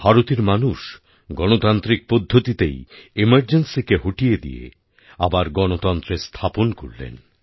ভারতের মানুষ গণতান্ত্রিক পদ্ধতিতেই এমার্জেন্সীকে হটিয়ে দিয়ে আবার গণতন্ত্রের স্থাপন করলেন